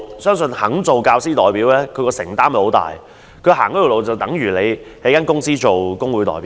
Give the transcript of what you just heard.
相信肯做教師代表的人，承擔很大，他所走的路相當於一間公司內的工會代表。